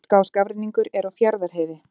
Hálka og skafrenningur er á Fjarðarheiði